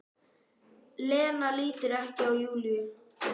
Lena lítur ekki á Júlíu.